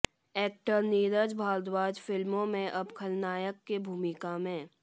actor Neeraj Bharadwaj फिल्मो में अब खलनायक की भूमिका में